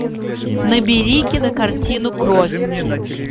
набери кинокартину кровь